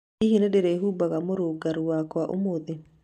Hihi nĩ ndĩrĩĩhumbaga mũrũngarũ wakwa ũmũthĩ?